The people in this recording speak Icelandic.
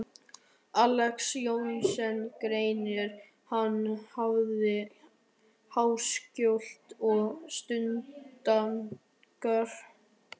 Alexander Jóhannesson grein, er hann nefndi Háskóli og Stúdentagarður.